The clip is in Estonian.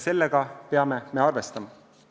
Sellega me peame arvestama.